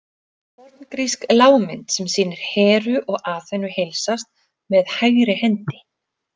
Forngrísk lágmynd sem sýnir Heru og Aþenu heilsast með hægri hendi.